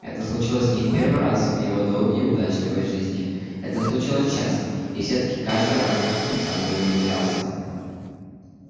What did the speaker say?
это случилось не в первый раз в его долгой и удачливой жизни это случалось часто и всё таки каждый раз он заново удивлялся